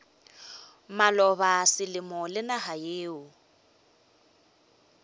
maloba selemo le naga yeo